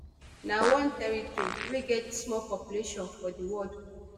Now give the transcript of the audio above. na one territory wey get small population for di world